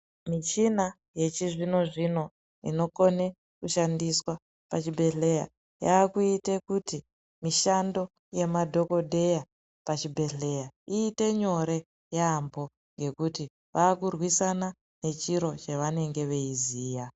Mishina yechizvino zvino inokone kushandiswa pachibhehleya yakuite kuti mishando yemadhokodheya pachibhehleya iite nyore yambo ngekuti vakurwisana nechirwere chavanenge veiziva.